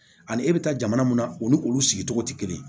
Ani e bɛ taa jamana munna u ni olu sigicogo tɛ kelen ye